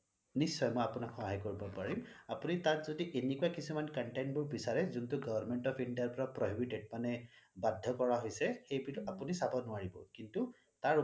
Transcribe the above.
নিশ্চয় মই আপোনাক সহায় কৰিব পাৰিম আপুনি তাত যদি এনেকুৱা কিছুমান content বোৰ বিছাৰে যোনটো government of India পৰা prohibited মানে বাধ্য কৰা হৈছে এইবিধ আপুনি চাব নোৱাৰিব কিন্তু